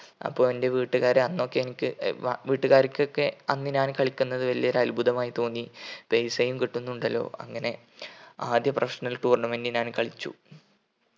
അപ്പൊ എന്റെ വീട്ടുകാർ അന്നൊക്കെ എനിക്ക് അഹ് വാ വീട്ടുകാർക്കൊക്കെ അന്ന് ഞാൻ കളിക്കുന്നത് വലിയ ഒരു അത്ഭുതമായി തോന്നി പൈസയും കിട്ടുന്നുണ്ടല്ലോ. അങ്ങനെ ആദ്യ professional tournament ഞാൻ കളിച്ചു